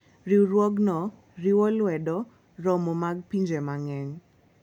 Riwruogno riwo lwedo romo mag pinje mang'eny.